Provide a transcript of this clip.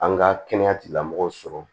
An ka kɛnɛya tigilamɔgɔw sɔrɔ